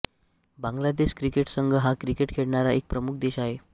Bangladesh cricket संघ हा cricket खेळणारा एक प्रमुख देश आहे